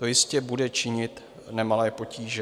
To jistě bude činit nemalé potíže.